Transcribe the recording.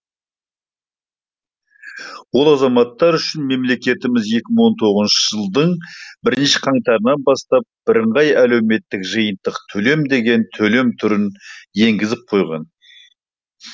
олар азаматтар үшін мемлекетіміз екі мың он тоғызыншы жылдың бірінші қаңтарынан бастап бірыңғай әлеуметтік жиынтық төлем деген төлем түрін енгізіп қойған